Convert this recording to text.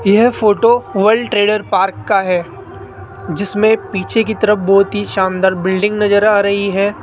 यह photo world trade park का है जिसमें पीछे की तरफ बहोत ही शानदार बिल्डिंग नजर आ रही है।